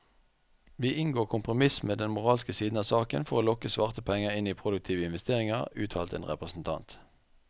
Vi inngår kompromiss med den moralske side av saken for å lokke svarte penger inn i produktive investeringer, uttalte en representant.